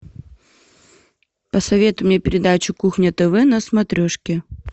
посоветуй мне передачу кухня тв на смотрешке